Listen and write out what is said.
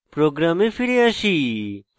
program ফিরে আসি